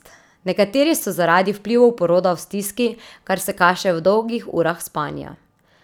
Nekateri so zaradi vplivov poroda v stiski, kar se kaže v dolgih urah spanja.